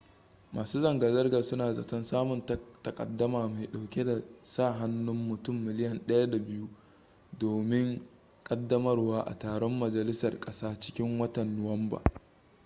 masu zanga-zangar suna zaton samun takaddama mai dauke da sa hannun mutum miliyan 1.2 domin kaddamarwa a taron majalisar kasa cikin watan nuwamba